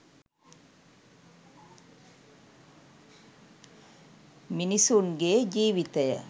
මිනිසුන් ගේ ජීවිතය